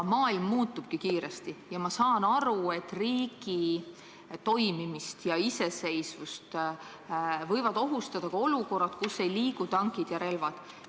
Maailm muutubki kiiresti ja ma saan aru, et riigi toimimist ja iseseisvust võivad ohustada ka olukorrad, mille puhul tankid ja relvad mängus pole.